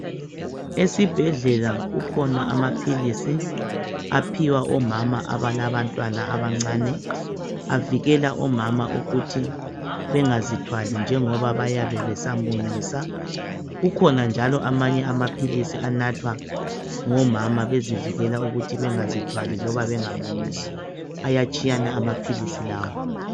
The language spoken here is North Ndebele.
Esibhedlela kukhona amaphilisi aphiwa omama aphiwa omama, abalabantwana abancane. Avikela omama ukuthi bengazithwali njengoba bayabe besamunyisa. Kukhona njalo amanye amaphilisi anathwa ngomama, bezivijela ukuthi bangazithwali , loba bengamunyisi. Ayatshiyana amaphilisi lawa.